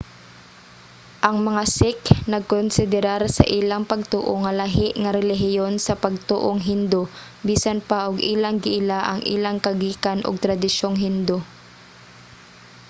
ang mga sikh nagkonsiderar sa ilang pagtoo nga lahi nga relihiyon sa pagtoong hindu bisan pa og ilang giila ang ilang kagikan ug tradisyong hindu